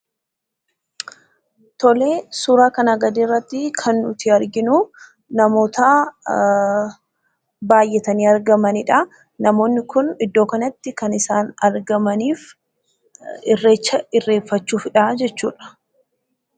Suuraa kanaa gadii irratti kan nuti arginu namoota baay'atanii argamanidha. Namoonni kun iddoo kanatti kan isaan argamaniif irreecha irreeffachuufidha jechuudha.